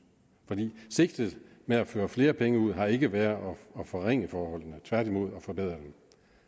for sigtet med at føre flere penge ud har ikke været at forringe forholdene tværtimod at forbedre dem